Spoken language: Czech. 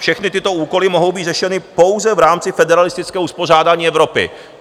Všechny tyto úkoly mohou být řešeny pouze v rámci federalistického uspořádání Evropy".